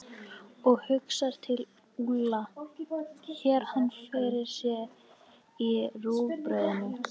Og hugsar til Úlla, sér hann fyrir sér í rúgbrauðinu.